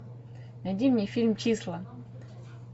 найди мне фильм числа